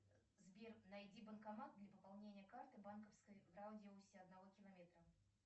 сбер найди банкомат для пополнения карты банковской в радиусе одного километра